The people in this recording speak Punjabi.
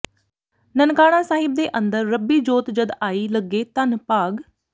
ਨਨਕਾਣਾ ਸਾਹਿਬ ਦੇ ਅੰਦਰ ਰੱਬੀ ਜੋਤ ਜਦ ਆਈ ਲੱਗੇ ਧੰਨ ਭਾਗ